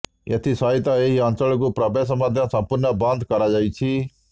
ଏଥି ସହିତ ଏହି ଅଞ୍ଚଳକୁ ପ୍ରବେଶ ମଧ୍ୟ ସମ୍ପୂର୍ଣ୍ଣ ବନ୍ଦ କରାଯାଇଛି